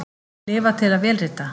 Lifa til að vélrita?